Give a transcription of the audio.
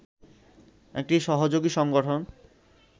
একটি সহযোগী সংগঠন